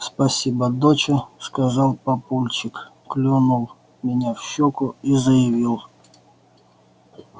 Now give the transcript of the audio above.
спасибо доча сказал папульчик клюнул меня в щёку и заявил